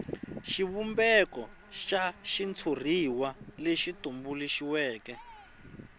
xivumbeko xa xitshuriwa lexi tumbuluxiweke